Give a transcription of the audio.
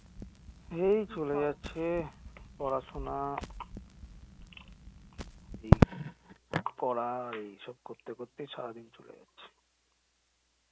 এই চলে যাচ্ছে পড়াশুনা এই করা এইসব করতে করতে এই সারাদিন চলে যাচ্ছে